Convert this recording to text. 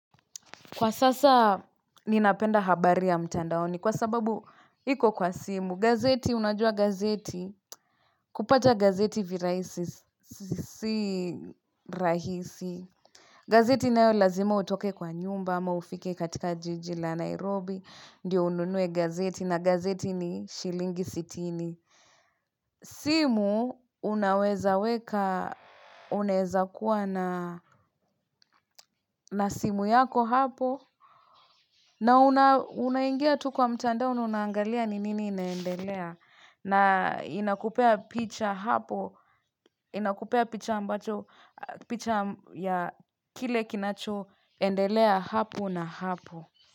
Kwa sasa, ninapenda habari ya mtandaoni kwa sababu iko kwa simu. Gazeti, unajua gazeti, kupata gazeti virahisi, si rahisi. Gazeti nayo lazima utoke kwa nyumba ama ufike katika jiji la Nairobi. Ndiyo ununue gazeti na gazeti ni shilingi sitini. Simu, unaweza weka, unaweza kuwa na simu yako hapo. Na unaingia tu kwa mtandao na unaangalia ni nini inaendelea na inakupea picha hapo, inakupea picha ambacho, picha ya kile kinachoendelea hapo na hapo.